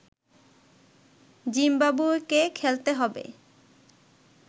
জিম্বাবুয়েকে খেলতে হবে